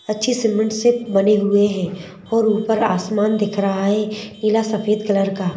अच्छी सीमेंट से बने हुए हैं और ऊपर आसमान दिख रहा है नीला सफेद कलर का।